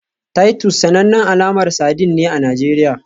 Titus sanannen alamar sardine ne a Najeriya